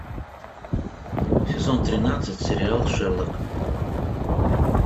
сезон тринадцать сериал шерлок